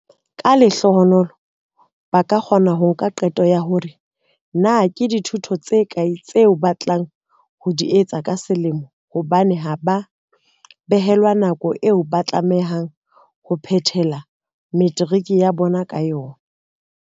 Ka lehlohonolo, ba ka kgona ho nka qeto ya hore na ke dithuto tse kae tseo ba batlang ho di etsa ka selemo hobane ha ba behelwa nako eo ba tlamehang ho phethela materiki ya bona ka yona.